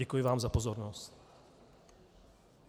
Děkuji vám za pozornost.